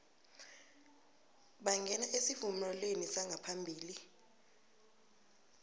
bangena esivumelwaneni sangaphambi